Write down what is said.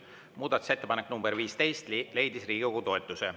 Muudatusettepanek nr 15 leidis Riigikogu toetuse.